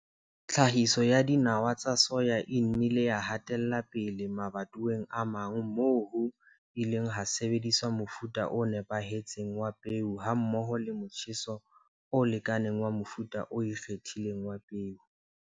Tlhahiso ya dinawa tsa soya e nnile ya hatela pele mabatoweng a mang moo ho ileng ha sebediswa mofuta o nepahetseng wa peo hammoho le motjheso o lekaneng wa mofuta o ikgethileng wa peo.